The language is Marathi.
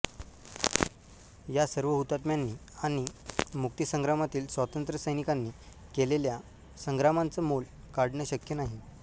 या सर्व हुतात्म्यांनी आणि मुक्ती संग्रामातील स्वातंत्र्य सैनिकांनी केलेल्या संग्रामाचं मोल काढणं शक्य नाही